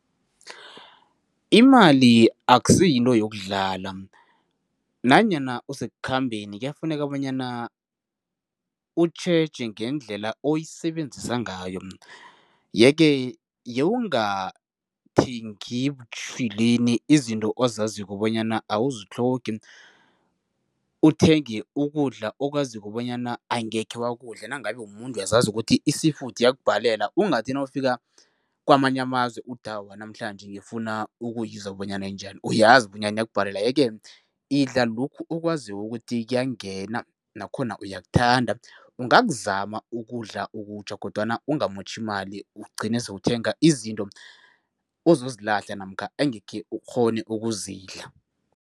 Imali akusiyinto yokudlala nanyana usekukhambeni kuyafuneka bonyana utjheje ngendlela oyisebenzisa ngayo yeke yewungathengi butjhilweni izinto ozaziko bonyana awuzitlhogi, uthenge ukudla okwaziko bonyana angekhe wakudla. Nangabe umuntu uyazazi ukuthi i-sea food iyakubhalela ungathi nawufika kamanye amazwe, uthi awa namhlanje ngifuna ukuyizwa bonyana injani, uyazi bonyana iyakubhalela yeke idla lokhu okwaziko ukuthi kuyangena nakhona uyakuthanda. Ungakuzama ukudla okutjha kodwana ungamotjhi imali ugcine sewukuthenga izinto ozozilahla namkha engekhe ukghone ukuzidla.